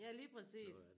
Ja lige præcis